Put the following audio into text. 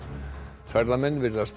ferðamenn virðast